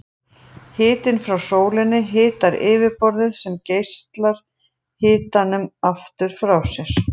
Hitinn frá sólinni hitar yfirborðið sem geislar hitanum aftur frá sér.